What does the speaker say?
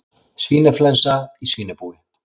Svínaflensa í svínabúi